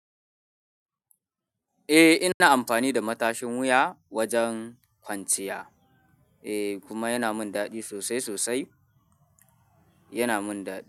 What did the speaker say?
Eh ina amfani da matashin wuya wajen kwanciya eh kuma yana min dadi sosai sosai, yana min dadi.